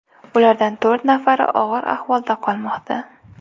Ulardan to‘rt nafari og‘ir ahvolda qolmoqda.